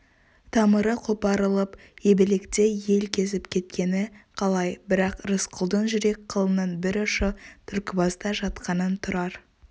тамыры қопарылып ебелектей ел кезіп кеткені қалай бірақ рысқұлдың жүрек қылының бір ұшы түлкібаста жатқанын тұрар